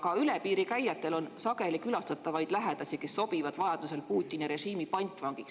Ka üle piiri käijad, kes sageli külastavad lähedasi, sobivad vajaduse korral Putini režiimi pantvangiks.